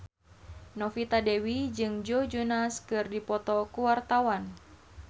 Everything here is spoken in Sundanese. Novita Dewi jeung Joe Jonas keur dipoto ku wartawan